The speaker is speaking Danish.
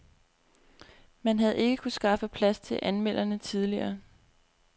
Man havde ikke kunnet skaffe plads til anmelderne tidligere.